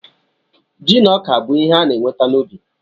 Ji na ọka bụ ihe a na-enweta n'ubi.